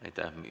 Aitäh!